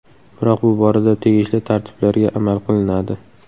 Biroq bu borada tegishli tartiblarga amal qilinadi.